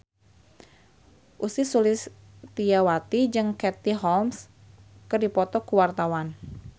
Ussy Sulistyawati jeung Katie Holmes keur dipoto ku wartawan